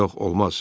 Yox, olmaz.